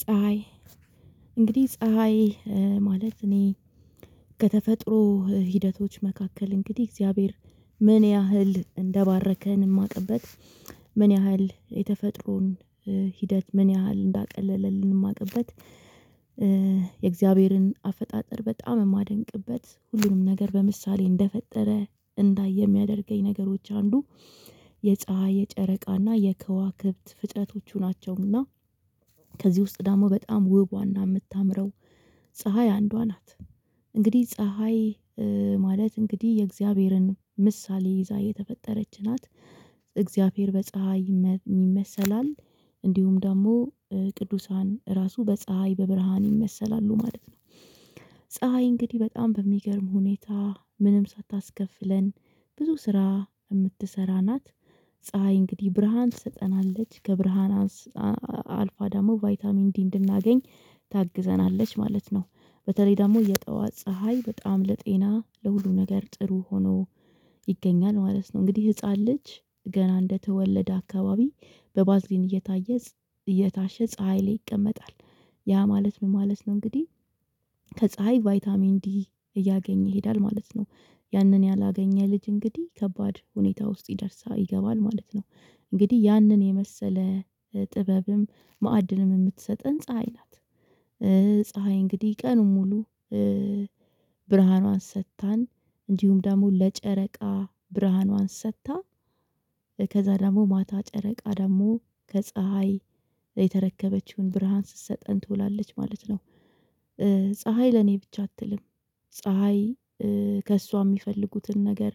ፀሀይ እንግዲህ ፀሀይ ማለት እኔ ከተፈጥሮ ሂደቶች መካከል እንግዲህ እግዚአብሔር ምን ያህል እንደባረከን እማቅበት ምን ያህል የተፈጥሮን ሂደት ምን ያህል እንዳቀለለልን እማቅበት። የእግዚአብሔርን አፈጣጠር በጣም እማደንቅበት ሁሉንም ነገር በምሳሌ እንደፈጠረ እንዳየ የሚያደርገኝ ነገሮች አንዱ የፀሀይ የጨረቃና የከዋክብት ፍጥረቶቹ ናቸውም እና ከዚህ ውስጥ ደሞ በጣም ውቧና የምታምረው ፀሀይ አንዷ ናት። እንግዲህ ፀሀይ ማለት እንግዲህ የእግዚአብሔርን ምሳሌ ይዛ የተፈጠረች ናት እግዚአብሔር በፀሀይ ይመሰላል እንዲሁም ደግሞ ቅዱሳን ራሱ በፀሀይ በብርሃን ይመሰላሉ ማለት ነው። ፀሀይ እንግዲህ በጣም በሚገርም ሁኔታ ምንም ሳታስከፍለን ብዙ ስራ የምትሰራ ናት። ፀሀይ እንግዲህ ብርሃን ትሰጠናለች ከብርሃን አልፋ ደግሞ ቫይታሚን ዲ እንድናገኝ ታግዘናለች ማለት ነው። በተለይ ደግሞ የጠዋት ፀሀይ በጣም ለጤና ለሁሉም ነገር ጥሩ ሆኖ ይገኛል ማለት ነው። እንግዲህ ህፃን ልጅ ገና እንደተወለደ አካባቢ በባዝሊን እየታየ እየታሸ ፀሀይ ላይ ይቀመጣል። ያ ማለት ምን ማለት ነው እንግዲህ ከፀሀይ ቫይታሚን ዲ እያገኘ ይሄዳል ማለት ነው። ያንን ያላገኘ ልጅ እንግዲህ ከባድ ሁኔታ ውስጥ ይደርሳ ይገባል ማለት ነው። እንግዲህ ያንን የመሰለ ጥበብም ማዕድንም የምትሰጥን ፀሀይ ናት። ፀሀይ እንግዲህ ቀኑን ሙሉ ብርሃኗን ሰጥታን እንዲሁም ደግሞ ለጨረቃ ብርሃኗን ሰጥታ ከዛ ደግሞ ማታ ጨረቃ ደግሞ ከፀሀይ የተረከበችውን ብርሃን ስትሰጠን ትውላለች ማለት ነው። ፀሀይ ለኔ ብቻ አትልም። ፀሀይ ከእሷ እሚፈልጉትን ነገር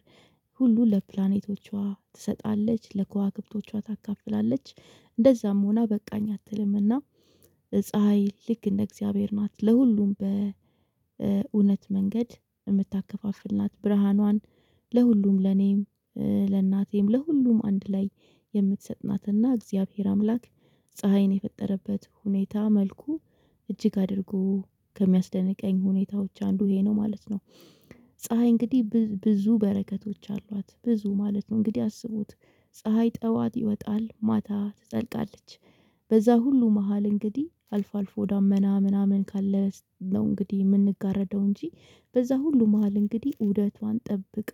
ሁሉ ለፕላኔቶቿ ትሰጣለች ለክዋክብቶቿ ታካፍላለች እንደዛም ሆና በቃኝ አትልምና። ፀሀይ ልክ እንደ እግዚአብሔር ናት ለሁሉም በእውነት መንገድ የምታከፋፍል ናት ብርሃኗን። ለሁሉም ለኔም ለእናቴም ለሁሉም አንድ ላይ የምትሰጥ ናትና እግዚአብሔር አምላክ ፀሀይን የፈጠረበት ሁኔታ መልኩ እጅግ አድርጎ ከሚያስደንቀኝ ሁኔታዎች አንዱ ይሄ ነው ማለት ነው። ፀሀይ እንግዲህ ብዙ በረከቶች አሏት ብዙ ማለት ነው እንግዲህ አስቡት ፀሀይ ጠዋት ይወጣል ማታ ትጠልቃለች። በዛ ሁሉ መሃል እንግዲህ አልፎ አልፎ ደመና ምናምን ካለ። እንግዲህ የምንጋረደው እንጂ በዛ ሁሉ መሃል እንግዲህ ዑደቷን ጠብቃ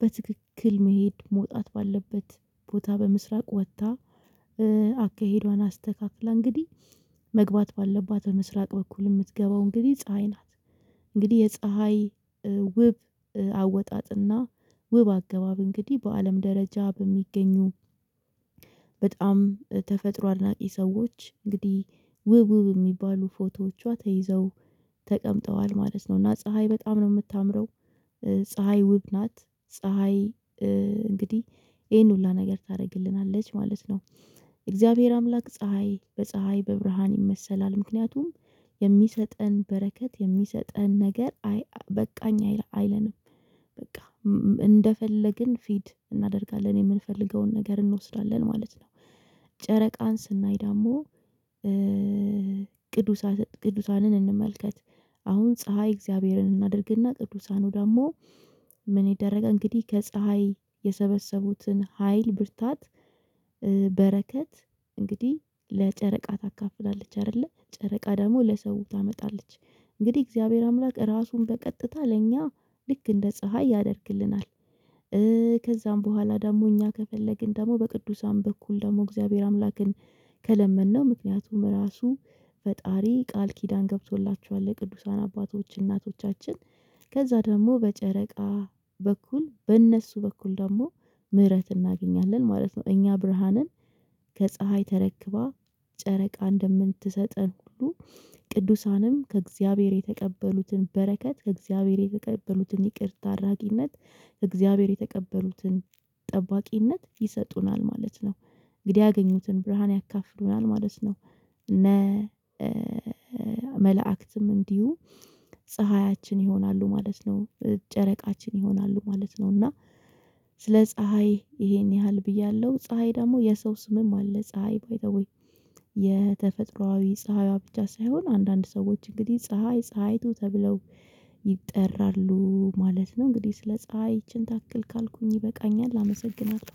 በትክክል መሄድ መውጣት ባለበት ቦታ በምስራቅ ወጥታ አካሄዷን አስተካክላ እንግዲህ መግባት ባለባት በምስራቅ በኩል የምትገባው እንግዲህ ፀሀይ ናት። እንግዲህ የፀሀይ ውብ አወጣጥና ውብ አገባብ እንግዲህ በአለም ደረጃ በሚገኙ በጣም ተፈጥሮ አድናቂ ሰዎች እንግዲህ ውብ ውብ የሚባሉ ፎቶዎቿ ተይዘው ተቀምጠዋል ማለት ነው። እና ፀሀይ በጣም ነው የምታምረው ፀሀይ ውብ ናት። ፀሀይ እንግዲህ ይሄን ሁሉ ነገር ታደርግልናለች ማለት ነው። የእግዚአብሔር አምላክ ፀሀይ በፀሀይ በብርሃን ይመሰላል ምክንያቱም የሚሰጠን በረከት የሚሰጠን ነገር በቃኝ አይለንም። በቃ እንደፈለግን ፊድ እናደርጋለን የምንፈልገውን ነገር እንወስዳለን ማለት ነው። ጨረቃን ስናይ ደግሞ ቅዱሳን እንመልከት አሁን ፀሀይ እግዚአብሔርን እናድርግና ቅዱሳኑ ደግሞ ምን ይደረጋል እንግዲህ ከፀሀይ የሰበሰቡትን ሀይል ብርታት በረከት እንግዲህ ለጨረቃ ታካፍላለች አይደለ ጨረቃ ደግሞ ለሰው ታመጣለች። እንግዲህ እግዚአብሔር አምላክ ራሱን በቀጥታ ለእኛ ልክ እንደ ፀሀይ ያደርግልናል። ከዛም በኋላ ደግሞ እኛ ከፈለግን ደግሞ በቅዱሳን በኩል ደግሞ እግዚአብሔር አምላክን ከለመንነው ምክንያቱም ራሱ ፈጣሪ ቃል ኪዳን ገብቶላቸዋል ለቅዱሳን አባቶች እናቶቻችን ከዛ ደግሞ በጨረቃ በኩል በእነሱ በኩል ደግሞ ምህረት እናገኛለን ማለት ነው። እኛ ብርሃንን ከፀሀይ ተረክባ ጨረቃ እንደምትሰጠን ሁሉ ቅዱሳንም ከእግዚአብሔር የተቀበሉትን በረከት ከእግዚአብሔር የተቀበሉትን ይቅርታ አድራጊነት ከእግዚአብሔር የተቀበሉትን ጠባቂነት ይሰጡናል ማለት ነው። እንግዲህ ያገኙትን ብርሃን ያካፍሉናል ማለት ነው። እነ መልአክትም እንዲሁ ፀሀያችን ይሆናሉ ማለት ነው። ጨረቃችን ይሆናሉ ማለት ነው። እና ስለ ፀሀይ ይሄን ያህል ብያለሁ ፀሀይ ደግሞ የሰው ስምም አለ ፀሀይ ባይ ዘ ዌይ። የተፈጥሮአዊ ፀሀይዋ ብቻ ሳይሆን አንዳንድ ሰዎች እንግዲህ ፀሀይ ፀሀይቱ ተብለው ይጠራሉ ማለት ነው። እንግዲህ ስለ ፀሀይ ይቺን ታክል ካልኩኝ ይበቃኛል አመሰግናለሁ።